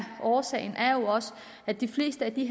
årsagerne er jo også at de fleste af de